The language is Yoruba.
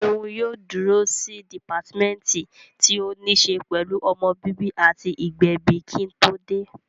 Ṣeun yóò dúró sí dìpátímẹ́ǹtì tí ó ní ṣe pẹ̀lú ọmọ bíbí àti ìgbẹ̀bi kí n tó dé